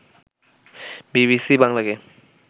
BBC বাংলাকে